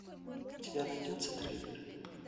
у тебя найдется трейдер